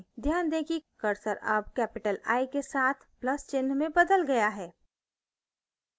ध्यान दें कि cursor अब capital i के साथ plus चिन्ह में बदल गया है